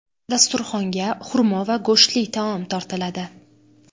Dasturxonga xurmo va go‘shtli taom tortiladi.